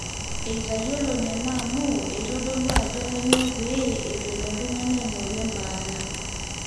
eitayiolo nena amu eitodolu ajo kanyoo pee eitu elo oltung'ani aing'oru embaata